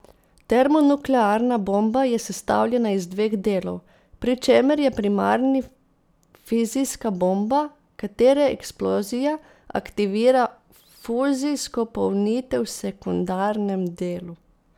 Termonuklearna bomba je sestavljena iz dveh delov, pri čemer je primarni fizijska bomba, katere eksplozija aktivira fuzijsko polnitev v sekundarnem delu.